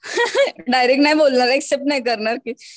direct नाही बोलणार accept नाही करणार ते